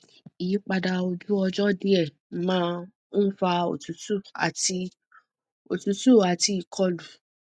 ìyípadà ojú ọjọ díẹ máa ń fa òtútù àti òtútù àti ìkọlù